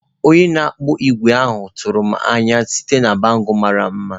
Onye na-akpụ ígwè ahụ tụrụ m n'anya site na bangle mara mma.